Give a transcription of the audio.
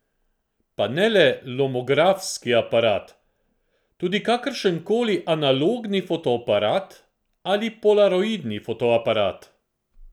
Pa ne le lomografski aparat, tudi kakršenkoli analogni fotoaparat ali polaroidni fotoaparat!